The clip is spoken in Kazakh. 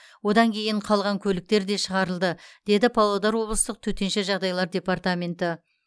одан кейін қалған көліктер де шығарылды деді павлодар облыстық төтенше жағдайлар департаменті